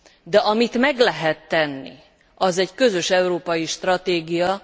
De amit meg lehet tenni, az egy közös európai stratégia.